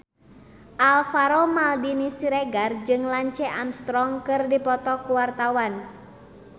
Alvaro Maldini Siregar jeung Lance Armstrong keur dipoto ku wartawan